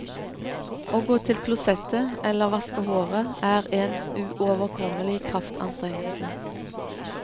Å gå til klosettet eller vaske håret er en uoverkommelig kraftanstrengelse.